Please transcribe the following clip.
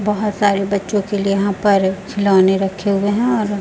बहोत सारे बच्चों के लिए यहां पर खिलौने रखे हुए हैं और--